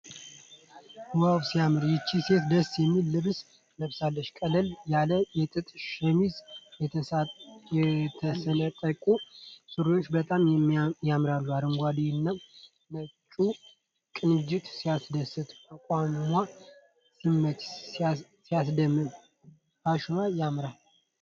ዋው! ሲያምር! ይህች ሴት ደስ የሚል ልብስ ለብሳለች። ቀለል ያለ የጥጥ ሸሚዝና የተሰነጣጠቁ ሱሪዎች በጣም ያምራሉ። አረንጓዴውና ነጭው ቅንጅት ሲያስደስት! አቋሟ ሲመች! ሲያስደምም! ፋሽኗ ያምራል!